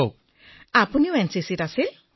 তৰন্নুমঃ আপুনিও এনচিচিৰ অংশীদাৰ আছিল